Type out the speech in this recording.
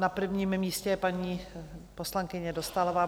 Na prvním místě je paní poslankyně Dostálová.